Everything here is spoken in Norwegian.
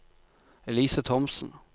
Elise Thomsen